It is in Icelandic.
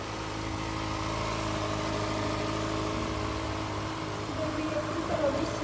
Reynir að bera höfuðið hátt og láta ekki á neinu bera.